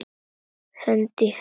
Hönd í hönd.